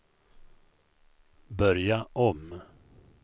börja om